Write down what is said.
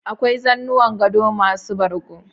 Akwai zanuwan gado masu bargo